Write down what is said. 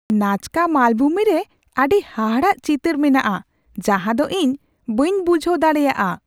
ᱱᱟᱡᱠᱟ ᱢᱟᱞᱵᱷᱩᱢᱤ ᱨᱮ ᱟᱹᱰᱤ ᱦᱟᱦᱟᱲᱟᱜ ᱪᱤᱛᱟᱹᱨ ᱢᱮᱱᱟᱜᱼᱟ ᱡᱟᱦᱟᱸ ᱫᱚ ᱤᱧ ᱵᱟᱹᱧ ᱵᱩᱡᱷᱟᱹᱣ ᱫᱟᱲᱮᱭᱟᱜᱼᱟ ᱾